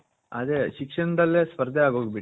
ಅದೇ ಶಿಕ್ಷನದಲ್ಲೇ ಸ್ಪರ್ದೆ ಆಗೋಗ್ಬುಟ್ಟು